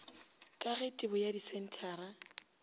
ka ge tebo ya disenthara